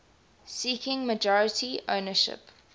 seeking majority ownership